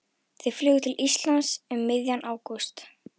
Þau flugu til Íslands um miðjan ágúst.